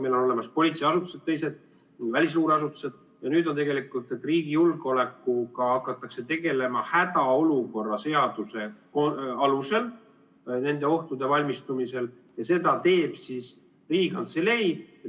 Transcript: Meil on olemas teised politseiasutused, välisluureasutused, ja nüüd on nii, et riigi julgeolekuga hakatakse tegelema hädaolukorra seaduse alusel nendeks ohtudeks valmistumisel, ja seda teeb Riigikantselei.